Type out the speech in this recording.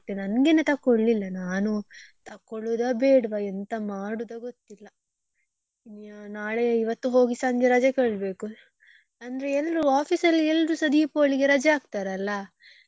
ನಂಗೆನೆ ತಕೋಳಿಲ್ಲ ನಾನು ತಕೊಳ್ಳುದ ಬೇಡ್ವ ಎಂತ ಮಾಡುದಾ ಗೊತ್ತಿಲ್ಲ ನಾಳೆ ಇವತ್ತು ಹೋಗಿ ಸಂಜೆ ರಜೆ ಕೇಳ್ಬೇಕು ಅಂದ್ರೆ ಎಲ್ರೂ office ಅಲ್ಲಿ ಎಲ್ರೂಸ Deepavali ಗೆ ರಜೆ ಹಾಕ್ತರಲ್ಲ.